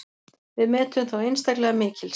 Við metum þá einstaklega mikils.